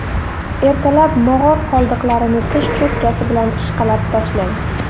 Ertalab mog‘or qoldiqlarini tish cho‘tkasi bilan ishqalab tashlang.